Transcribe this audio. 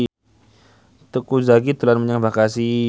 Teuku Zacky dolan menyang Bekasi